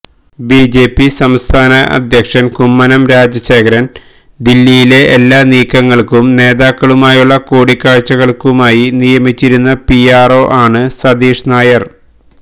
BJP സംസ്ഥാന അധ്യക്ഷന് കുമ്മനം രാജശേഖരന് ദില്ലിയിലെ എല്ലാ നീക്കങ്ങള്ക്കും നേതാക്കളുമായുള്ള കൂടിക്കാഴ്ച്ചകള്ക്കുമായി നിയമിച്ചിരുന്ന പിആര്ഒ ആണ് സതീഷ് നായര്